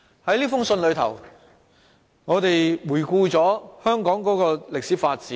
在這信中，我們回顧香港的歷史發展。